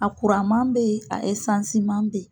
A kuranman be ye, a esansiman be ye.